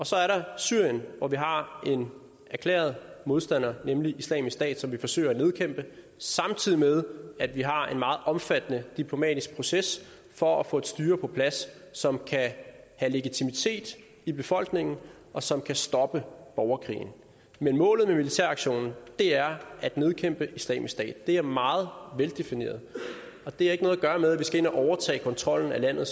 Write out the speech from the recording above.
så er der syrien hvor vi har en erklæret modstander nemlig islamisk stat som vi forsøger at nedkæmpe samtidig med at vi har en meget omfattende diplomatisk proces for at få et styre på plads som kan have legitimitet i befolkningen og som kan stoppe borgerkrigen men målet med militæraktionen er at nedkæmpe islamisk stat det er meget veldefineret og det har ikke noget at gøre med at vi skal ind og overtage kontrollen med landet